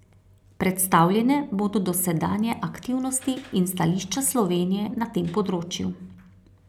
Predstavljene bodo dosedanje aktivnosti in stališča Slovenije na tem področju.